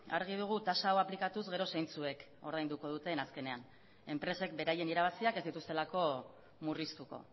argi dugu tasa hau aplikatuz gero zeintzuek ordainduko duten azkenean enpresek beraien irabaziak ez dituztelako murriztuko